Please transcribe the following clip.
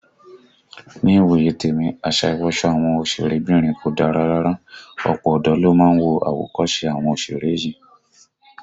Ní ìwòye tèmi, àṣà ìwọsọ àwọn òsèré bìnrin kò dára rárá, ọ̀pọ̀ ọ̀dọ́ ló ń wo àwòkọ́se àwọn òsèré yìí